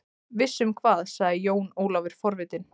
Viss um hvað, sagði Jón Ólafur forvitinn.